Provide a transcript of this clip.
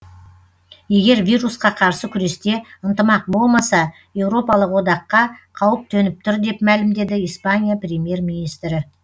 егер вирусқа қарсы күресте ынтымақ болмаса еуропалық одаққа қауіп төніп тұр деп мәлімдеді испания премьер министрі